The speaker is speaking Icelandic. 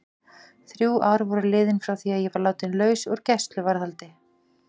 Þrjú ár voru liðin frá því að ég var látin laus úr gæsluvarðhaldinu.